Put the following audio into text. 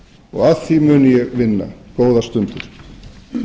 og að því mun ég vinna góðar stundir